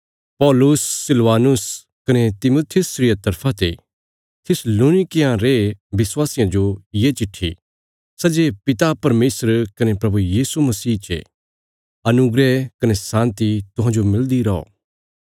पौलुस सिलवानुस कने तिमुथियुस रिया तरफा ते थिस्सलुनीकियां रे विश्वासियां जो ये चिट्ठी सै जे पिता परमेशर कने प्रभु यीशु मसीह चे अनुग्रह कने शान्ति तुहांजो मिलदी रौ